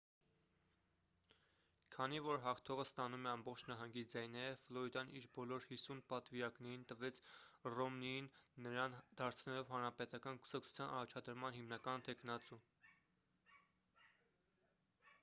քանի որ հաղթողը ստանում է ամբողջ նահանգի ձայները ֆլորիդան իր բոլոր հիսուն պատվիրակներին տվեց ռոմնիին նրան դարձնելով հանրապետական կուսակցության առաջադրման հիմնական թեկնածու